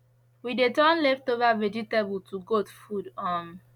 we dey turn leftover vegetable to goat food um